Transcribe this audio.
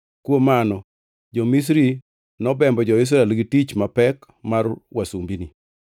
kuom mano jo-Misri nobembo jo-Israel gi tich mapek mar wasumbini.